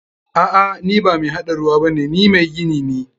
A'a, ni ba mai haɗa ruwa bane, ni mai gini ne.